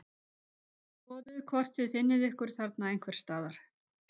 Skoðið hvort þið finnið ykkur þarna einhvers staðar